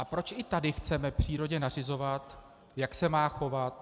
A proč i tady chceme přírodě nařizovat, jak se má chovat?